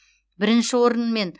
бірінші орын мен